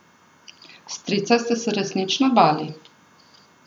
Strica ste se resnično bali.